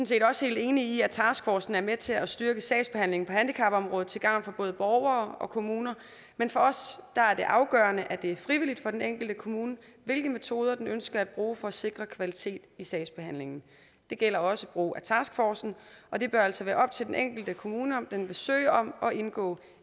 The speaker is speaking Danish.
set også helt enige i at taskforcen er med til at styrke sagsbehandlingen på handicapområdet til gavn for både borgere og kommuner men for os er det afgørende at det er frivilligt for den enkelte kommune hvilke metoder den ønsker at bruge for at sikre kvalitet i sagsbehandlingen det gælder også brug af taskforcen og det bør altså være op til den enkelte kommune om den vil søge om at indgå